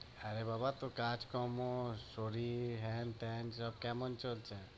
আরে বাবা তোর কাজকর্ম, শরীর হ্যান ত্যান সব কেমন চলছে?